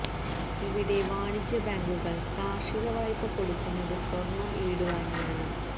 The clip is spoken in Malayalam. ഇവിടെ വാണിജ്യ ബേങ്കുകള് കാര്ഷിക വായ്പ കൊടുക്കുന്നതു സ്വര്ണം ഈട് വാങ്ങിയാണ്